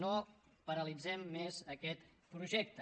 no paralitzem més aquest projecte